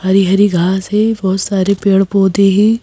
हरी हरी घास है बहोत सारे पेड़ पौधे हैं।